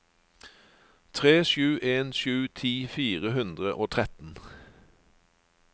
tre sju en sju ti fire hundre og tretten